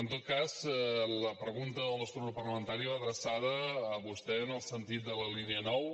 en tot cas la pregunta del nostre grup parlamentari va adreçada a vostè en el sentit de la línia nou